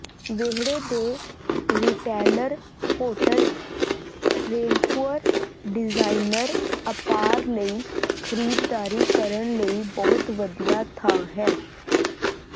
ਵਿਹੜੇ ਦੇ retailer Holt Renfrew designer apparel ਲਈ ਖਰੀਦਦਾਰੀ ਕਰਨ ਲਈ ਬਹੁਤ ਵਧੀਆ ਥਾਂ ਹੈ